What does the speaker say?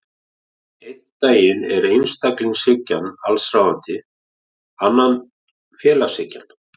Einn daginn er einstaklingshyggjan allsráðandi, annan félagshyggjan.